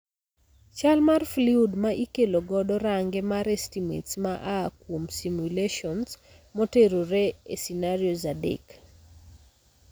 Chal mar fluid ma ikelo godo range mar estimates ma aa kuom simulations motenore e scenarios adek